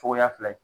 Cogoya fila ye